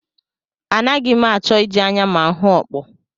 Anaghị m achọ iji anya m ahụ okpo